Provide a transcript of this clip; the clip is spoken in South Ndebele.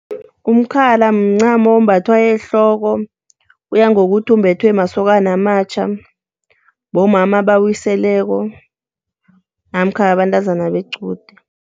Umkhala mncamo ombathwa ehloko kuya ngokuthi umbethwe masokana amatjha, bomama abawiseleko namkha bantazana bequde.